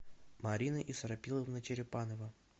марина исрапиловна черепанова